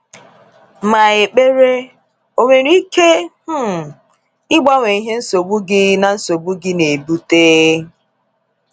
Ma ekpere o nwere ike um ịgbanwe ihe nsogbu gị na nsogbu gị na ebute?